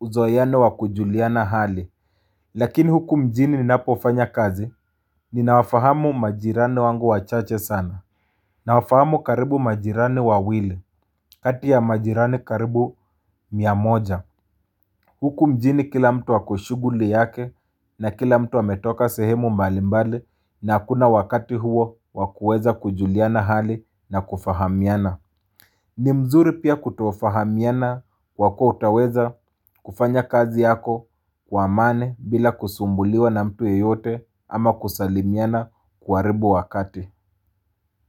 uzoeano wakujuliana hali. Lakini huku mjini ninapofanya kazi, ninawafahamu majirani wangu wachache sana. Nawafahamu karibu majirani wawili, kati ya majirani karibu miamoja. Huku mjini kila mtu ako kushughuli yake na kila mtu ametoka sehemu mbali mbali na hakuna wakati huo wakuweza kujuliana hali na kufahamiana. Ni mzuri pia kutofahamiana kwa kuwa utaweza kufanya kazi yako kwa amani bila kusumbuliwa na mtu yeyote ama kusalimiana kuharibu wakati.